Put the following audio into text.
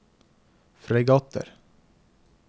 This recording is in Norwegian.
fregatter